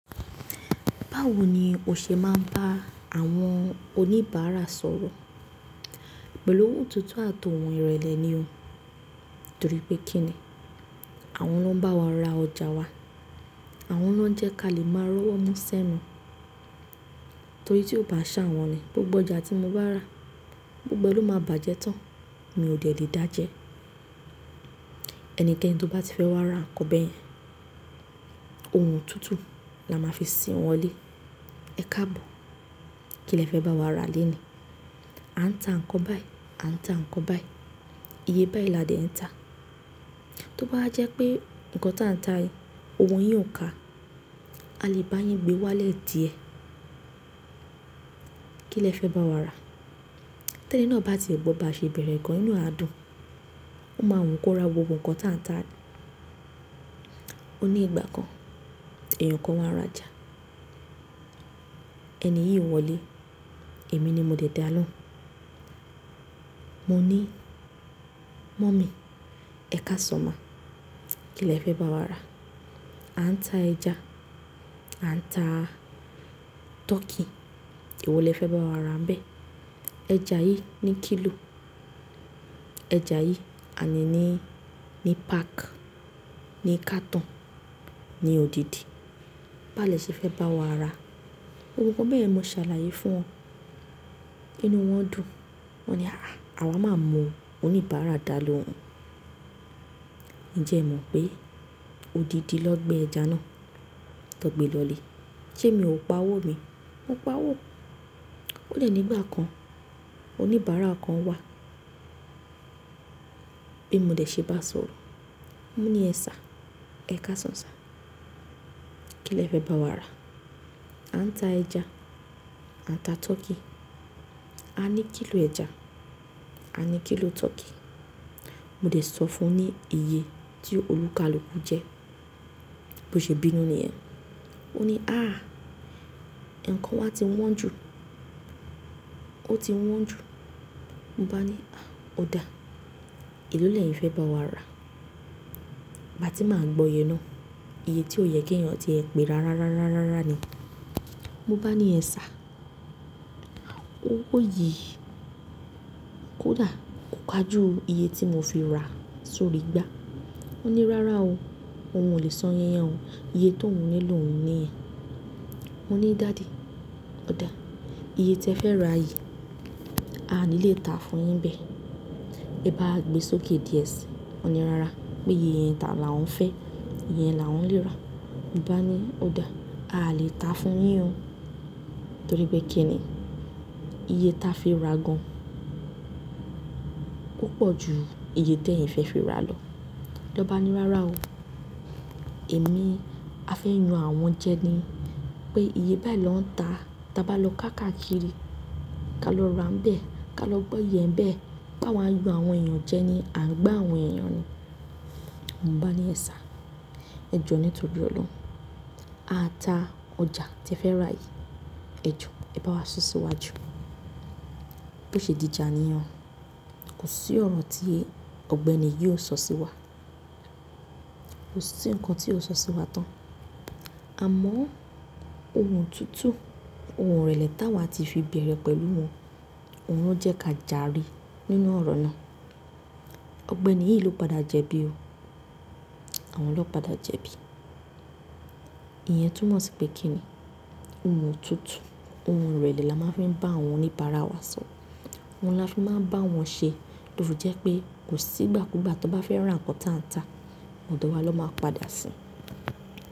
Báwo ni o ṣe máa ń bá àwọn oníbàárà sọ̀rọ̀? Pẹ̀ lohùn tutu àtọ̀hún ìrẹ̀lẹ̀ ni o. Torí pé kí ni? Àwọn ló ń bá wa ra ọjà wa. Àwọn ló ń jẹ́ kí a lè máa rọ́wọ́ mú sẹ́nu. Torí tí ó bá ṣàwọn ni, gbogbo ọjà tí mo bá rà, gbogbo ẹ ló máa bàjẹ́ tán. Mi ò dè le dá jẹ. Ẹnikeni tó bá ti fẹ́ wá ra nǹkan bẹ́ẹ̀ yẹn, ohùn tutu la máa fi sìn wọlé. Ẹ káàbọ̀, kí lẹ fẹ́ bá wa ra lenìí? A ń ta nǹkan báyìí, a ń ta nǹkan báyìí. Iye báyìí la dẹ̀ ń ta. Tó báwa jẹ́ pé nǹkan táa ń ta, òwò yín ò ka, a lè bá yín gbé wálẹ̀ díẹ̀. Kí lẹ fẹ́ bá wa rà? Tẹ́ni náà bá ti e gbọ́ bá ṣe bẹ̀rẹ̀ gan inú e a dùn. Ó máa wù kó ra gbogbo nǹkan táa ń ta. O ní ìgbà kan, èèyàn kan wá rajà. Ẹni yìí wọlé. Èmi ni mo dè dá a lóhùn. Mo ní, mummy, ẹ kásan ma. Kí lẹ fẹ́ bá wa rà? A ń ta ẹja, a ń ta turkey. Ewo lẹ fẹ́ bá wa rà nbẹ́ẹ̀. Ẹja yìí ní kìlò. Ẹja yìí, àní ní, ní pack, ní carton, ní òdìdì. Bá lẹ ṣé fẹ́ bá wa rà. Gbogbo bẹ́yen mo ṣàlàyé fún wọn. Ínú wọ́n dùn. Wọ́n ní, àh ah, àwa máa mọ oníbàárà dalóhun. Ǹjẹ́ ẹ mọ̀ pé, òdìdì ló gbé ẹja náà. Tọ gbe lọ lé. Ṣé mi ò pa owó mi? Mo pa owó. Ó dẹ̀ nígbà kan, oníbàárà kan wà. Bí mo de ṣe bá sọ̀rọ̀. Mo ní ẹ sir, ẹ kásan sir. Kí lẹ fẹ́ bá wa rà? A ń ta ẹja, a ń ta tọkí. A ní kìlò ẹja, a ní kìlò turkey. Mo dé sọ fún ní iye tí olúkalúkù jẹ́. Bí ó ṣe bínú nìyẹn. Ó ní, à, ǹkan wa ti wọ́n jù. Ó ti wọ́n jù. Mo bá ni, à, ó dáa. Èló lẹyin fẹ́ bá wa rà? Ba ti máa gbọ́ye náà, iye tí ó yẹ kí èèyàn ti e pé rárá rárá rárá ni. Mo bá ni ẹ sir. Owó yìí kòda, kò kaju iye tí mo fi ra sórí igbá. Ó ní, rárá o. Òun ò lè sọ iye yen ò. Iye tó ń ní lòun ni yẹn. Mo ní, daddy, ó dáa. Iye tí ẹ fẹ́ rà yìí, a ò ní lè ta fún yín bẹ́ẹ̀. Mo bá gbé sókè díẹ̀ si. Ó ní, rárá, pé iye yẹn ta làwon fẹ́. Iye yẹn lawon lè rà. Mo bá ni, ó dáa. Aà lè ta fún yín o. Torí pé kí ni? Iye táa fi rà gan púpọ̀ ju iye tí ẹ̀yin fẹ́ fi rà lọ. Ọba ní, rárá o. Èmi a fẹ́ yan àwọn jẹ ni. Pé iye báyìí ló ń ta. Táa bá lọ káàkakiri, ká lọ ra nbẹ́ẹ̀. Ká lọ gbọ́ye e nbẹ̀. Páwà yan àwọn èèyàn jẹ ni, à ń gbá àwọn èèyàn ni. Mo bá ni ẹ sir. Ẹ jọ nítorí Oloun. A ta ọjà tí ẹ fẹ́ rà yìí. Ẹ jọ, ẹ bá wa sun ṣíwájú. Bó ṣe di ija niyen o. Kò sí ọ̀rọ̀ tí ọ̀gbẹ́ni yìí ó sọ sí wa. Kò sí nǹkan tí ó sọ sí wa tán. Àmọ́, ohùn tutu, ohùn ìrẹ̀lẹ̀ táa wa ti fi bẹ̀rẹ̀ pẹ̀lú wọn, òun ló jẹ́ ká jàre nínú ọ̀rọ̀ náà. Ọ̀gbẹ́ni yìí ló padà jẹbi o. Àwọn ló padà jẹbi. Ìyẹn túmọ̀ sí pé kí ni? Ohùn tutu, ohùn ìrẹ̀lẹ̀ la máa fi ń bá àwọn oníbàárà wa sọ̀rọ̀. Ohun la máa fi maa ń bá wọn ṣe. To fí jẹ́ pé kò sí ìgbàkúgbà tó bá fẹ́ rà nǹkan táa ń ta, ọ̀dọ̀ wa ló máa padà si.